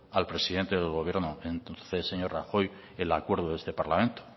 al presidente del gobierno entonces señor rajoy el acuerdo de este parlamento